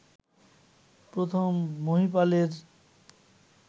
প্রথম মহীপালের